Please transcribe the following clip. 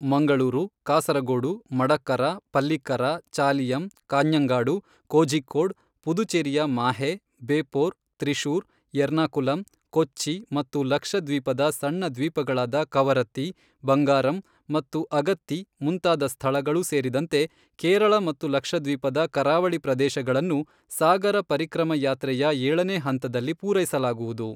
ಮಂಗಳೂರು, ಕಾಸರಗೋಡು, ಮಡಕ್ಕರ, ಪಲ್ಲಿಕ್ಕರ, ಚಾಲಿಯಂ, ಕಾಞಂಗಾಡು, ಕೋಝಿಕೋಡ್, ಪುದುಚೇರಿಯ ಮಾಹೆ, ಬೇಪೋರ್, ತ್ರಿಶೂರ್, ಎರ್ನಾಕುಲಂ, ಕೊಚ್ಚಿ ಮತ್ತು ಲಕ್ಷದ್ವೀಪದ ಸಣ್ಣ ದ್ವೀಪಗಳಾದ ಕವರತ್ತಿ, ಬಂಗಾರಂ ಮತ್ತು ಅಗತ್ತಿ ಮುಂತಾದ ಸ್ಥಳಗಳು ಸೇರಿದಂತೆ ಕೇರಳ ಮತ್ತು ಲಕ್ಷದ್ವೀಪದ ಕರಾವಳಿ ಪ್ರದೇಶಗಳನ್ನು ಸಾಗರ ಪರಿಕ್ರಮ ಯಾತ್ರೆಯ ಏಳನೇ ಹಂತದಲ್ಲಿ ಪೂರೈಸಲಾಗುವುದು.